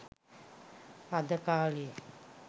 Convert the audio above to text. අද කාලෙ